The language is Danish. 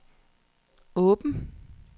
åben